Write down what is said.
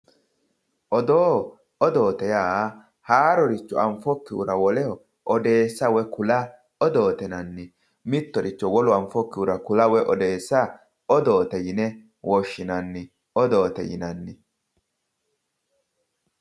Odoo odoote yaa haaroricho anfokihura woleho odeessa woy kula odoote yinanni. Mittoricho wolu anfokkihura kula woyi odeessa odoote yine woshshinanni. Odoote yinanni.